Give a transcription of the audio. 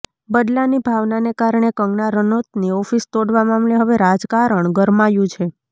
બદલાની ભાવનાને કારણે કંગના રનૌતની ઓફિસ તોડવા મામલે હવે રાજકારણ ગરમાયું છે